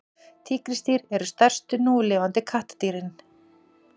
tígrisdýr eru stærstu núlifandi kattardýrin